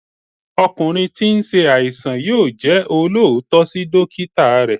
ọkunrin tí n se àìsàn yóò jẹ́ olóòótọ́ sí dókítà rẹ̀